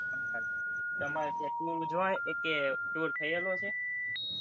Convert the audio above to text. તમારે ત્યાં tour , એકેય tour થયેલો છે?